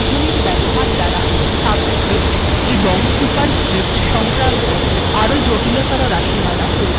এছাড়াও বন্ধনীর ব্যবহার দ্বারা সাবস্ক্রিপ্ট এবং সুপারস্ক্রিপ্ট সংক্রান্ত আরো জটিলতর রািশমালা তৈরী করা যায়